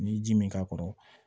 N'i ye ji min k'a kɔrɔ